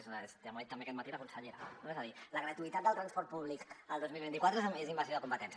ja m’ho ha dit també aquest matí la consellera no és a dir la gratuïtat del transport públic el dos mil vint quatre és invasió de competències